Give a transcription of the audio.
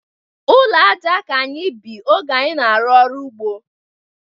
Ụlọ aja ka anyị bi oge anyị na-arụ ọrụ ugbo.